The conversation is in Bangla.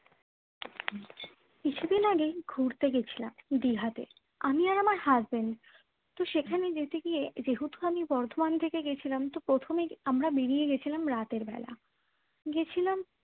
কিছুদিন আগেই ঘুরতে গিয়েছিলাম দিঘাতে আমি আর আমার husband সেখানে যেতে গিয়ে যেহেতু আমি বর্ধমান থেকে গিয়েছিলাম তো প্রথমে আমরা বেরিয়ে গিয়েছিলাম রাতের বেলা গেছিলাম